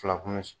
Fila kun bɛ